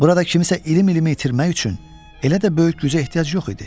Burada kimisə ilim-ilim itirmək üçün elə də böyük gücə ehtiyac yox idi.